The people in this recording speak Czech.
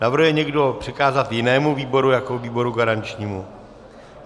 Navrhuje někdo přikázat jinému výboru jako výboru garančnímu?